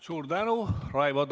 Suur tänu!